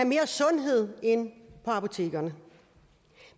mere sundhed ind på apotekerne